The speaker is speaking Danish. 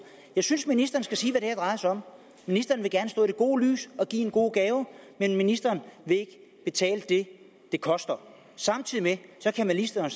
jeg synes ministeren skal sige hvad det her drejer sig om ministeren vil gerne stå i det gode lys og give en god gave men ministeren vil ikke betale det det koster samtidig kan ministeren